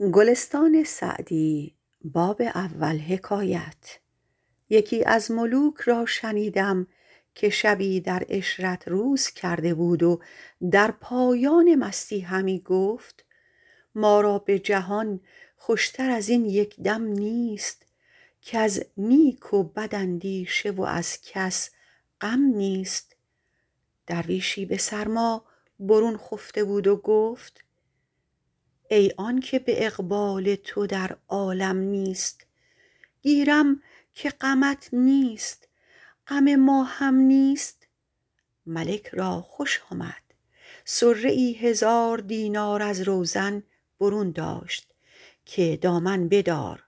یکی از ملوک را شنیدم که شبی در عشرت روز کرده بود و در پایان مستی همی گفت ما را به جهان خوش تر از این یک دم نیست کز نیک و بد اندیشه و از کس غم نیست درویشی به سرما برون خفته بود و گفت ای آن که به اقبال تو در عالم نیست گیرم که غمت نیست غم ما هم نیست ملک را خوش آمد صره ای هزار دینار از روزن برون داشت که دامن بدار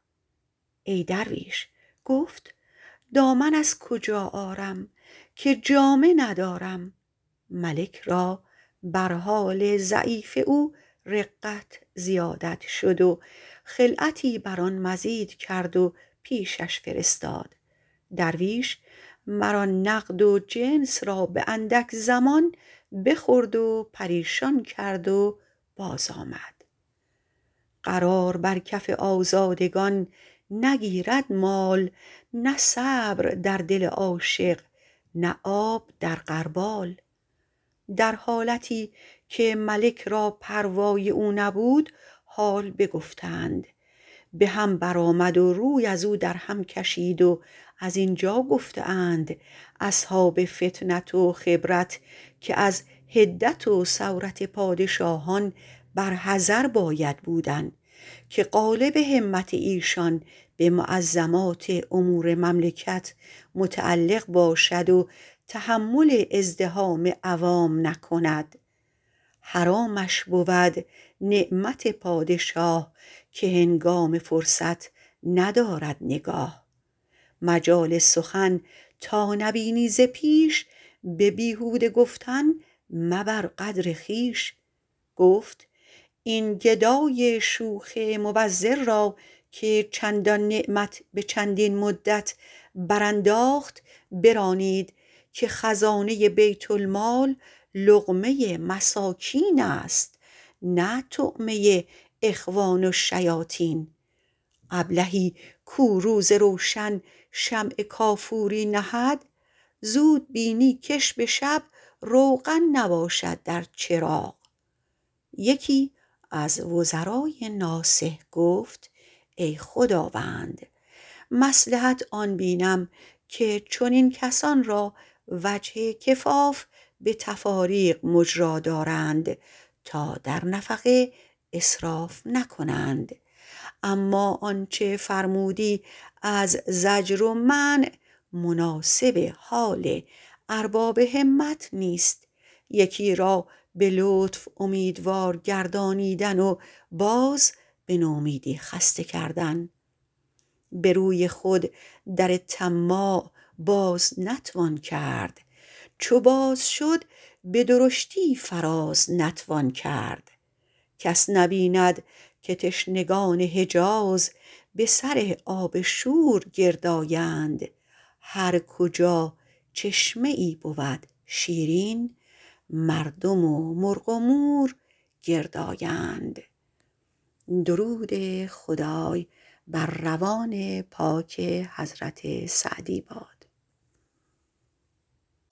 ای درویش گفت دامن از کجا آرم که جامه ندارم ملک را بر حال ضعیف او رقت زیادت شد و خلعتی بر آن مزید کرد و پیشش فرستاد درویش مر آن نقد و جنس را به اندک زمان بخورد و پریشان کرد و باز آمد قرار بر کف آزادگان نگیرد مال نه صبر در دل عاشق نه آب در غربال در حالتی که ملک را پروای او نبود حال بگفتند به هم بر آمد و روی ازو در هم کشید و زین جا گفته اند اصحاب فطنت و خبرت که از حدت و سورت پادشاهان بر حذر باید بودن که غالب همت ایشان به معظمات امور مملکت متعلق باشد و تحمل ازدحام عوام نکند حرامش بود نعمت پادشاه که هنگام فرصت ندارد نگاه مجال سخن تا نبینی ز پیش به بیهوده گفتن مبر قدر خویش گفت این گدای شوخ مبذر را که چندان نعمت به چندین مدت برانداخت برانید که خزانه بیت المال لقمه مساکین است نه طعمه اخوان الشیاطین ابلهی کو روز روشن شمع کافوری نهد زود بینی کش به شب روغن نباشد در چراغ یکی از وزرای ناصح گفت ای خداوند مصلحت آن بینم که چنین کسان را وجه کفاف به تفاریق مجرا دارند تا در نفقه اسراف نکنند اما آنچه فرمودی از زجر و منع مناسب حال ارباب همت نیست یکی را به لطف اومیدوار گردانیدن و باز به نومیدی خسته کردن به روی خود در طماع باز نتوان کرد چو باز شد به درشتی فراز نتوان کرد کس نبیند که تشنگان حجاز به سر آب شور گرد آیند هر کجا چشمه ای بود شیرین مردم و مرغ و مور گرد آیند